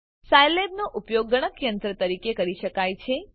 સાયલેબનો ઉપયોગ ગણકયંત્ર તરીકે કરી શકાય છે